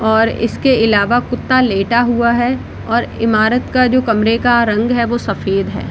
और इसके आलावा कुत्ता लेटा हुआ है और इमारत का जो कमरे का रंग है वो सफेद है।